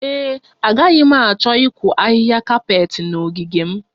Ee e, agaghị m achọ ịkụ ahịhịa kapet na ogige m